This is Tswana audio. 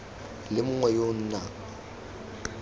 le mongwe yo o nang